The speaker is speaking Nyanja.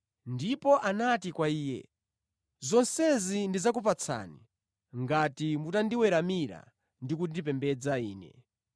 Ndipo anati kwa Iye, “Zonsezi ndidzakupatsani ngati mutandiweramira ndi kundipembedza ine.”